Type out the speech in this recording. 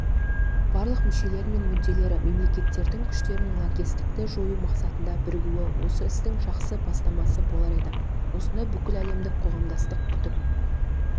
барлық мүшелері мен мүдделі мемлекеттердің күштерінің лаңкестікті жою мақсатында бірігуі осы істің жақсы бастамасы болар еді осыны бүкіл әлемдік қоғамдастық күтіп